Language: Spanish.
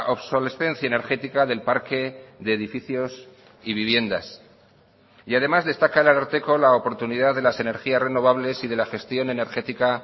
obsolescencia energética del parque de edificios y viviendas y además destaca el ararteko la oportunidad de las energías renovables y de la gestión energética